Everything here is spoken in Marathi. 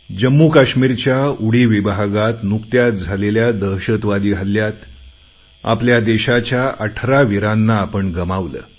जम्मू काश्मीरच्या उरी विभागात नुकत्याच झालेल्या दहशतवादी हल्ल्यात आपल्या देशाच्या अठरा वीरांना आपण गमावले